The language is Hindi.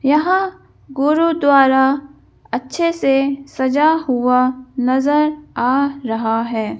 यहां गुरुद्वारा अच्छे से सजा हुआ नजर आ रहा है।